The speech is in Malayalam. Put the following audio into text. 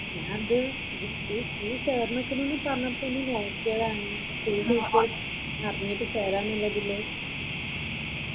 ഞാനിത് നീ ചേർനിക്കിണ് പറഞ്ഞപ്പോള്‍ ഒന്ന് നോക്കിയത് ആണ് അറിഞ്ഞിട്ട് ചേരാമെന്നുള്ളതില്.